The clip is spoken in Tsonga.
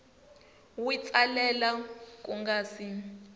wi tsalela ku nga si